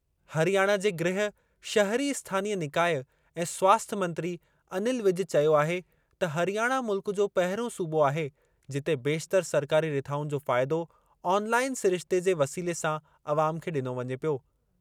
हरियाणा जे गृह, शहरी स्थानीय निकाय ऐं स्वास्थ्य मंत्री, अनिल विज चयो आहे त हरियाणा मुल्क जो पहिरियों सूबो आहे जिते बेशितरु सरकारी रिथाउनि जो फ़ाइदो ऑनलाइन सिरिश्ते जे वसीले सां अवाम खे ॾिनो वञे पियो।